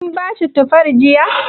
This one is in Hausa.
Kin bashi tufar jiya?